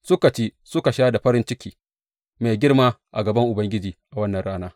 Suka ci suka sha da farin ciki mai girma a gaban Ubangiji a wannan rana.